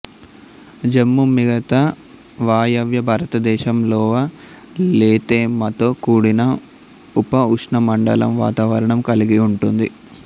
జమ్మూ మిగతా వాయవ్య భారతదేశంలోవలెతేమతో కూడిన ఉపఉష్ణమండల వాతావరణం కలిగిఉంటుది